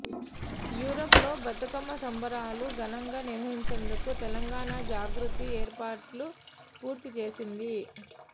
Europe లో బతుకమ్మ సంబరాలు ఘనంగా నిర్వహించేందుకు తెలంగాణ జాగృతి ఏర్పాట్లు పూర్తి చేసింది